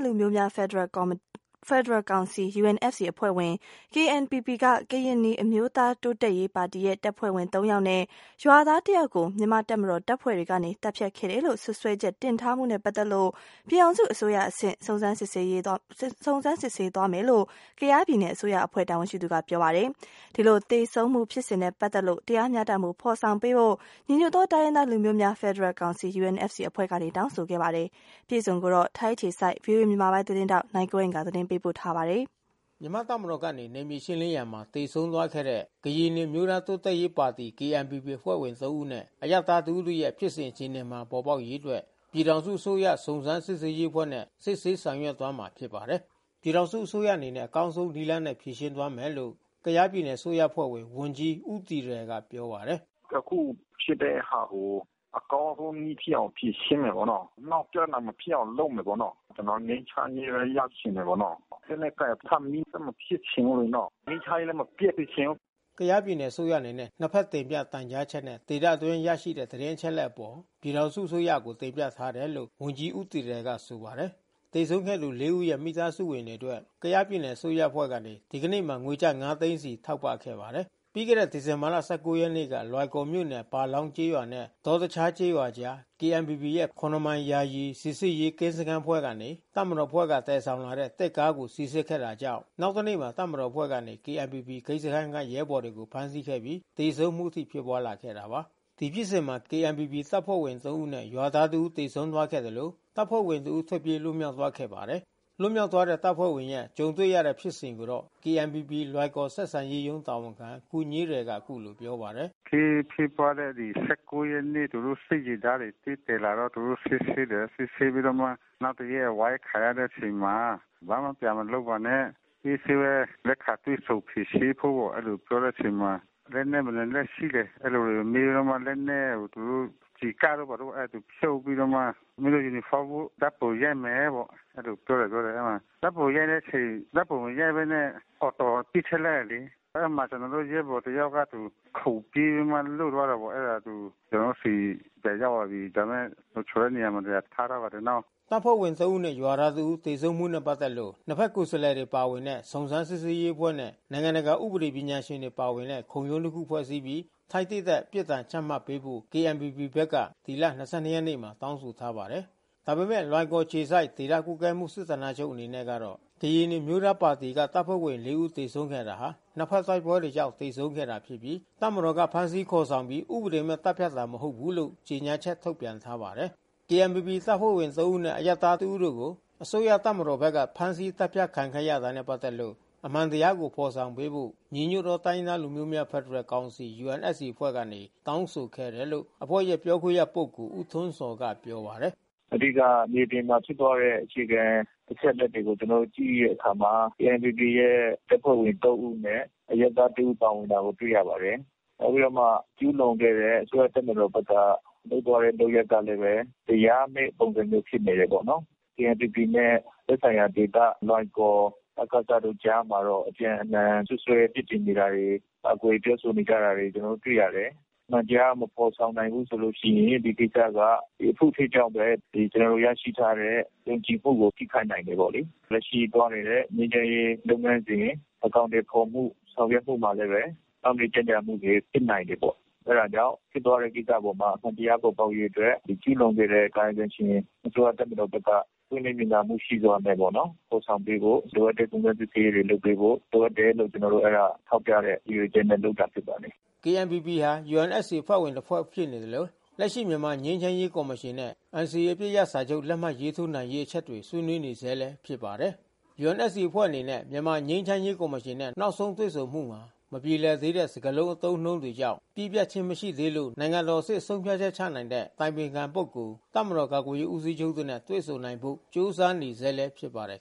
လူမျိုးများဖက်ဒရယ်ကောင်စီ UNFC အဖွဲ့ဝင်KNPP ကရင်နီအမျိုးသားတိုးတက်ရေးပါတီရဲ့ တပ်ဖွဲ့ဝင် ဦးနဲ့ရွာသားတဦးကို မြန်မာ့တပ်မတော်တပ်ဖွဲ့တွေကနေ သတ်ဖြတ်ခဲ့တယ်လို့စွပ်စွဲချက်တင်ထားမှုနဲ့ ပက်သက်လို့ ပြည်ထောင်စုအစိုးရ အဆင့် စုံစမ်းစစ်ဆေးသွားမယ်လို့ ကယားပြည်နယ်အစိုးရ အဖွဲ့တာဝန်ရှိသူ တွေကပြောပါတယ်။ ဒီလိုသေဆုံးမှုဖြစ်စဉ်နဲ့ပက်သက်လို့ တရားမျှတမှု ဖော်ဆောင်ပေးဖို့ ညီညွတ်သောတိုင်းရင်းသား လူမျိုးများဖက်ဒရယ် ကောင်စီ UNFCအဖွဲ့ကနေတောင်းဆိုခဲ့ပါတယ်။ သတင်းအပြည့်အစုံကိုတော့ ဗွီအိုအေသတင်းထောက် နိုင်ကွန်းအိန်ကနေသတင်းပေးပို့ထားပါတယ်။ မြန်မာ့တပ်မတော်ကနေ နယ်မြေရှင်းလင်းရာမှာ သေဆုံးခဲ့သော KNPP အဖွဲ့ဝင် ၃ ဦးနဲ့ အရပ်သား ၁ ဦးတို့ရဲ့ ဖြစ်စဉ် အခြေအနေမှန် ပေါ်ပေါက်စေရေးအတွက် ပြည်ထောင်စုအစိုးရ စုံစမ်းစစ်ဆေးရေးအဖွဲ့နဲ့ စစ်ဆေးဆောင်ရွက်သွားမှာ ဖြစ်ပါတယ်။ ပြည်ထောင်စုအစိုးရအနေနဲ့ အကောင်းဆုံးနည်းနဲ့ဖြေရှင်းသွားမယ်လို့ ကယားပြည်နယ်အစိုးရအဖွဲ့ဝင်ဝန်ကြီး ဦးတီရယ်က ပြောပါတယ်။ "အခုဖြစ်တဲ့ဟာကို အကောင်းဆုံးနည်းဖြစ်အောင်ဖြေရှင်း မယ်ပေါ့နော်။ နောက်ပြဿနာမဖြစ်အောင် လုပ်မယ်ပေါ့နော်။ ကျွန်တော်ငြိမ်းချမ်းရေး ဘဲရချင်တယ်ပေါ့နော်။ လက်နက်ကိုင်ထပ်ပြီး ဆက်မဖြစ်ချင်ဘူးလေနော်။ ငြိမ်းချမ်းရေးလဲ မပျက်စေချင်ဘူး။" ကယားပြည်နယ်အစိုးရအနေနဲ့ နှစ်ဖက်တင်ပြတိုင်ကြားချက် နဲ့ဒေသအတွင်းရရှိတဲ့သတင်းအချက် အလက်အပေါ် ပြည် ထောင်စုအစိုးရကိုတင်ပြထားတယ်လို့ ဝန်ကြီး ဦးတီရယ်ကဆိုပါတယ်။ သေဆုံးခဲ့သူ ဦးရဲ့မိသားစုဝင်တွေအတွက် ကယားပြည်နယ်အစိုးရအဖွဲ့ကနေ ဒီနေ့မှာ ငွေကျပ် ၅ သိန်းစီထောက်ပံ့ခဲ့ပါတယ်။ ပြီးခဲ့တဲ့ ဒီဇင်ဘာ ရက်နေ့က လွိုင်ကော်မြို့နယ် ပါလောင်းကျေးရွာ နဲ့ ဒေါ တခြားကျေးရွာ အကြား KNPP ရဲ့ ၇ မိုင် ယာယီစစ်ဆေးရေးကင်းစခန်းအဖွဲ့က တပ်မတော်အဖွဲ့ကသယ်ဆောင်လာတဲ့သစ်ကားကို စီစစ်ခဲ့တာကြောင့် နောက် တနေ့မှာတပ်မတော်အဖွဲ့ကနေ KNPP ဂိတ်စခမ်းရဲဘော်တွေကိုဖမ်းဆီးခဲ့ပြီး သေဆုံးမှုအထိဖြစ်ပွါးလာတာပါ။ ဒီဖြစ်စဉ်မှာ KNPPတပ်ဖွင့်ဝင် ဦးနဲ့ ရွာသားတဦးသေဆုံးသွားခဲ့သလို တပ်ဖွ့ဲဝင် တဦး ထွက်ပြေး လွတ်မြောက်သွားခဲ့ ပါတယ်။ လွတ်မြောက်သွားတဲ့တပ်ဖွဲ့ဝင်ရဲ့ကြုံတွေ့ရတဲ့ဖြစ်စဉ်ကိုတော့ KNPP လွိုင်ကော်ဆက်ဆံရေးရုံးတာဝန်ခံ ခူညေးရယ်က အခုလိုပြောပါတယ်။ "အခင်းဖြစ်ပွါးခဲ့တဲ့ ရက်နေ့ သူတို့စစ်ယာဉ်တန်းတွေသစ်သယ်လာတော့ သူတို့စစ်ဆေးတယ်။ စစ်ဆေးပြီးမှ နောက်တရက် အဝိုင်းခံရတဲ့အချိန်မှာ ဘာမှပြန်မလုပ်ပါနဲ့။ အေးဆေးဘဲ လက်ခံတွေ့ဆုံဖြေရှင်းဖို့ပေါ့၊ အဲဒီလိုပြောတဲ့အချိန်မှာ လက်နက်ဘယ်နှစ်လက်ရှိလဲ အဲဒီလိုမေးပြီးတော့မှ လက်နက်ကိုသူတို့ ကျည်ကပ်တို့ဘာတို့သူဖြုတ်ပြီးမှ မင်းတို့ ယူနီ ဖေါင်းဝတ်။ ဓါတ်ပုံရိုက်မယ်ပေါ့ အဲဒီလိုပြောတယ်။ ဓါတ်ပုံရိုက်တဲ့အချိန် ဓါတ်ပုံမရိုက်ဘဲနဲ့Auto ပစ်ထဲ့လိုက်တယ်လေ။ အဲဒီမှာကျွန်တော်တို့ရဲဘော်တယောက်က သူခုန်ပြေးပြီးမှလွတ်သွားတာပေါ့။ အဲတာသူ ကျွန်တော်တို့ဆီ ပြန်ရောက် ပါပြီ။ ဒါပေမဲ့လုံခြုံတဲ့နေရာမှာထားထားပါတယ်။" တပ်ဖွဲ့ဝင် ၃ ဦးနဲ့ ရွာသား ၁ ဦး သေဆုံးမှုနဲ့ ပတ်သက်လို့ နှစ်ဖက်ကိုယ်စားလှယ်တွေပါဝင်တဲ့ စုံစမ်းစစ်ဆေးရေးအဖွဲ့နဲ့ နိုင်ငံတကာဥပဒေ ပညာရှင်တွေပါဝင်တဲ့ ခုံရုံးတစ်ခု ဖွဲ့စည်းပြီး ထိုက်သင့်တဲ့ ပြစ်ဒဏ်ချမှတ်ပေးဖို့ KNPP ဘက်က ဒီလ ရက်နေ့မှာတောင်းဆိုထားပါတယ်။ ဒါပေမဲ့ လွိုင်ကော်အခြေစိုက် ဒေသကွပ်ကဲမှု စစ်ဌာနချုပ်အနေနဲ့ကတော့ ကရင်နီအမျိုးသားတိုးတက်ရေးပါတီက တပ်ဖွဲ့ဝင် ၄ ဦးသေဆုံးခဲ့တာဟာ နှစ်ဖက်တိုက်ပွဲတွေကြောင့် သေဆုံးခဲ့တာဖြစ်ပြီး တပ်မတော်က ဖမ်းဆီးခေါ်ဆောင်ပြီး ဥပဒေမဲ့ သတ်ဖြတ်ခဲ့တာ မဟုတ်ဘူးလို့ ကြေညာချက်ထုတ်ပြန်ထားပါတယ်။ KNPPတပ်ဖွဲ့ဝင် ၃ ဦးနဲ့ အရပ်သား တစ်ဦးတို့ကို အစိုးရတပ်မတော်ဘက်က ဖမ်းဆီးသတ်ဖြတ်ခံခဲ့တာနဲ့ ပတ်သက်လို့ အမှန်တရားကိုဖော်ဆောင်ပေးဖို့ ညီညွတ်သောတိုင်းရင်းသားလူမျိုးများဖက်ဒရယ်ကောင်စီ UNFC အဖွဲ့ကနေတောင်း ဆိုခဲ့တယ်လို့ အဖွဲ့ ရဲ့ပြောခွင့်ရပုဂ္ဂိုလ် ဦးထွန်းဇော် ကပြောပါတယ်။ "အဓိကမြေပြင်မှာဖြစ်ပွါးတဲ့ အချက်အလက်တွေကို ကျွန်တော်တို့ကြည့်တဲ့အခါမှာ KNPPရဲ့ တပ်ဖွဲ့ဝင် ဦး နဲ့ အရပ်သား တဦးပါဝင်တာကိုတွေ့ရပါတယ်။ နောက်ပြီးတော့မှ ကျူးလွန်ခဲ့တဲ့ အစိုးရတပ်မတော် ဘက်က လုပ်သွားတဲ့လုပ်ရပ်ကလဲ တရားမဲ့ ပုံစံမျိုးဖြစ်နေတယ်ပေါ့နော်။ KNPPနဲ့သက်ဆိုင်ရာဒေသ လွိုင်ကော် ဒ.က.စ တို့ကြားမှာတော့ အပြန်အလှန် စွပ်စွဲ ပြစ်တင်နေတာတွေ ကာကွယ်ပြောဆိုနေတာတွေတွေ့ ရတယ်။ အမှန်တရားမဖေါ်ဆောင်နိုင်ဘူးဆိုရင် ဒီကိစ္စက အဖုအထစ်ကြောင့်ဘဲ ဒီကျွန်တော်တို့ ရရှိထားတဲ့ယုံကြည်မှုကို ထိခိုက်နိုင်တယ် ပေါ့လေ။ လက်ရှိသွားနေတဲ့ ငြိမ်းချမ်းရေး လုပ် ငန်းစဉ် အကောင်အထည်ဖေါ်ဖို့ဆောင်ရွက်ဖို့မှာလဲဘဲ နှောက်နှေးကြန့်ကြာမှုတွေဖြစ်နိုင် တယ်ပေါ့။ ဖြစ်သွားတဲ့ကိစ္စ အပေါ်မှာ အမှန်တရားပေါ်ပေါက်ရေးအတွက် ဒီကျူးလွန်ခဲ့တဲ့ကာယကံရှင် အစိုးရတပ်မတော်ဘက်က ပွင့်လင်းမြင်သာ မှုရှိစွာနဲ့ပေါ့နော် ဖေါ်ဆောင်ပေးဖို့။ လိုအပ်တဲ့စုံစမ်းစစ်ဆေးရေးတွေလုပ်ပေးဖို့ လိုအပ်တယ်လို့ ကျွန်တော်တို့အဲတာ ထောက်ပြတဲ့ရည်ရွယ်ချက်နဲ့လုပ်တာဖြစ်ပါတယ်။" KNPP ဟာ UNFCအဖွဲ့ဝင်တဖွဲ့ဖြစ်နေသလို လက်ရှိမြန်မာငြိမ်းချမ်းရေးကော်မရှင်နဲ့ NCAအပစ်ရပ်စာချုပ် လက်မှတ် ထိုးနိုင်ရေးအချက်တွေဆွေးနွေးနေဆဲဖြစ်ပါတယ်။ UNFC အဖွဲ့အနေနဲ့ မြန်မာငြိမ်းချမ်းရေးကော်မရှင်နဲ့ နောက်ဆုံးတွေ့ဆုံမှုမှာ မပြေလည်သေးတဲ့ စကားလုံးအသုံးနှုန်း ကြောင့် ပြီးပြတ်မှုမရှိသေးလို့နိုင်ငံတော်အဆင့် ဆုံးဖြတ်ချက်ချနိုင်တဲ့အတိုင်ပင်ခံပုဂ္ဂိုလ်၊ တပ်မတော်ကာကွယ်ရေး ဦးစီးချုပ်တို့နဲ့တွေ့ဆုံနိုင်ဖို့ကြိုးစားနေဆဲလဲဖြစ်ပါတယ်